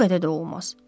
Bu qədər də olmaz.